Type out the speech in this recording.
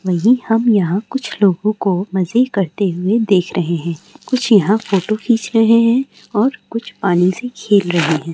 वही हम यहाँ कुछ लोगों को मजे करते हुए देख रहे हैं कुछ यहाँ फोटो खींच रहे हैं और कुछ पानी से खेल रहे हैं।